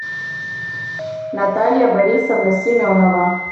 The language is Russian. наталья борисовна семенова